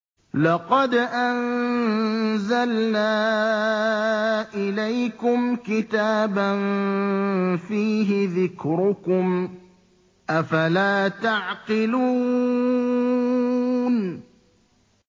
لَقَدْ أَنزَلْنَا إِلَيْكُمْ كِتَابًا فِيهِ ذِكْرُكُمْ ۖ أَفَلَا تَعْقِلُونَ